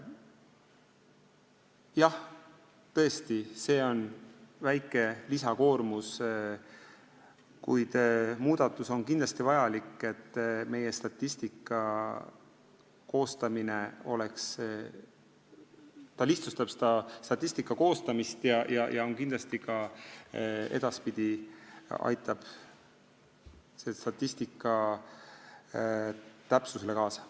Jah, tõesti, see on väike lisakoormus, kuid muudatus on kindlasti vajalik, sest see lihtsustab statistika koostamist ja aitab edaspidi selle täpsusele kaasa.